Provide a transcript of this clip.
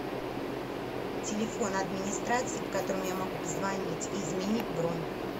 телефон администрации по которому я могу позвонить и изменить бронь